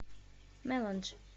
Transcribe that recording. меландж